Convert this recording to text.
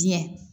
Biyɛn